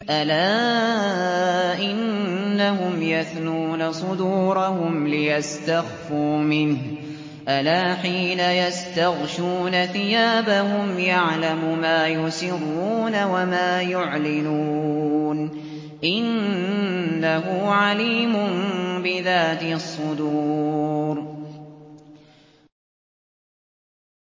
أَلَا إِنَّهُمْ يَثْنُونَ صُدُورَهُمْ لِيَسْتَخْفُوا مِنْهُ ۚ أَلَا حِينَ يَسْتَغْشُونَ ثِيَابَهُمْ يَعْلَمُ مَا يُسِرُّونَ وَمَا يُعْلِنُونَ ۚ إِنَّهُ عَلِيمٌ بِذَاتِ الصُّدُورِ